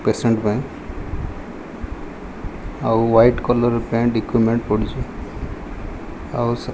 patient ପାଇଁ ଆଉ white colour ର ପେଣ୍ଟ ଇକୁମେଣ୍ଟ ପଡ଼ିଚି ଆଉ ସେ --